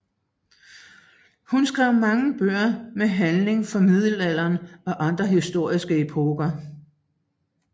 Hun skrev mange bøger med handling fra middelalderen og andre historiske epoker